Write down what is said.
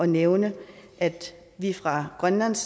nævne at vi fra grønlands